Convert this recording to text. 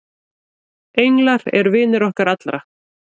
englar eru vinir okkar allra